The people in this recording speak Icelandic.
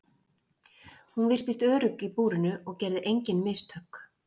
Hún virtist örugg í búrinu og gerði engin mistök.